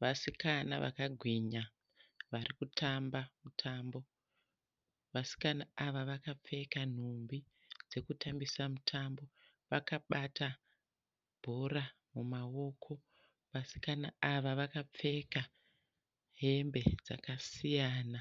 Vasikana vakagwinya varikutamba mutambo. Vasikana ava vakapfeka nhumbi dzekutambisa mutambo. Vakabata bhora mumaoko. Vasikana ava vakapfeka hembe dzakasiyana